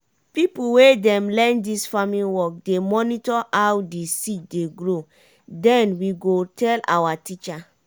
pipo wey dey learn dis farm work dey monitor how di seed dey grow den we go tell awa teacher.